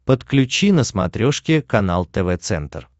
подключи на смотрешке канал тв центр